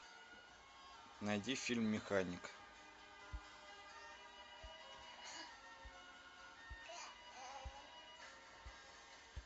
найди фильм механик